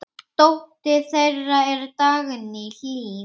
Dóttir þeirra er Dagný Hlín.